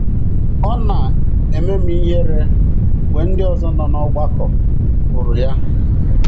Ọ na - eme m ihere mgbe ndị ọzọ nọ n’ọgbakọ hụrụ ya. ”